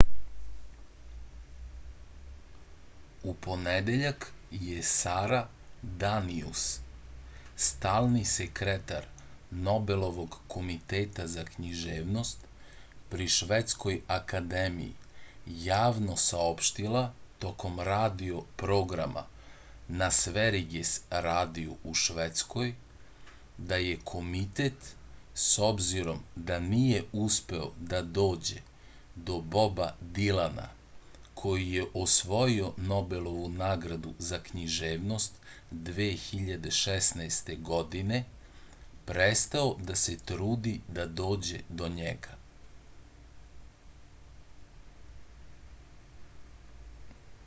u ponedeljak je sara danijus stalni sekretar nobelovog komiteta za književnost pri švedskoj akademiji javno saopštila tokom radio programa na sveriges radiju u švedskoj da je komitet s obzirom da nije uspeo da dođe do boba dilana koji je osvojio nobelovu nagradu za književnost 2016. godine prestao da se trudi da dođe do njega